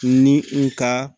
Ni u ka